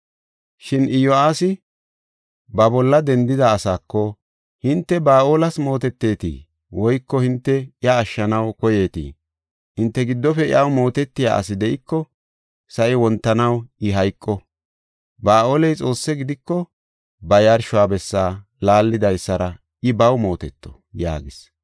Shin Iyo7aasi ba bolla dendida asaako, “Hinte Ba7aales mootetetii? Woyko hinte iya ashshanaw koyeetii? Hinte giddofe iyaw mootetiya asi de7iko, sa7i wontanaw I hayqo. Ba7aaley xoosse gidiko ba yarsho bessa laallidaysara I baw mooteto” yaagis.